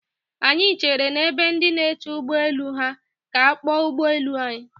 Anyị chere n'ebe ndị na-eche ụgbọ elu ha ka a kpọọ ụgbọ elu anyị.